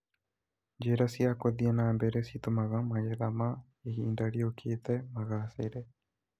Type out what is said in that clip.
Njĩra cia gũthiĩ na mbere citũmaga magetha ma ihinda rĩũkĩte magacĩre